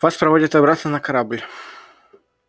вас проводят обратно на корабль